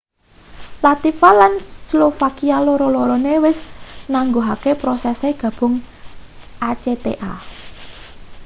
latvia lan slovakia loro-lorone wis nangguhke prosese gabung acta